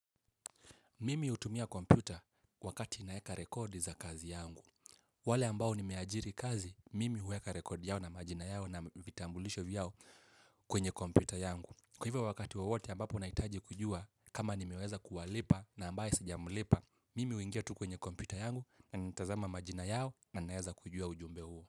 Mimi hutumia kompyuta wakati naeka rekodi za kazi yangu. Wale ambao nimeajiri kazi, mimi huweka rekodi yao na majina yao na vitambulisho vyao kwenye kompyuta yangu. Kwa hivyo wakati wowote ambapo nahitaji kujua kama nimeweza kuwalipa na ambaye sijamlipa, mimi huingia tu kwenye kompyuta yangu na nitazama majina yao na naeza kujua ujumbe huo.